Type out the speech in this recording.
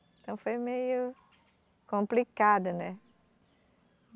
Então foi meio complicado, né?